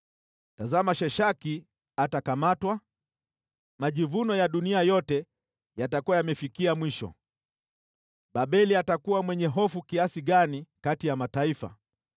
“Tazama jinsi Sheshaki atakamatwa, majivuno ya dunia yote yatakavyonyakuliwa. Babeli atakuwa mwenye hofu kiasi gani kati ya mataifa!